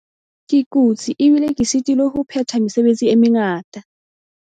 Ke kutse ebile ke sitilwe ho phetha mesebetsi e mengata.